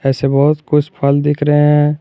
जैसे बहुत कुछ फल दिख रहे हैं।